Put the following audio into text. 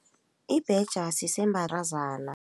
Ibhetjha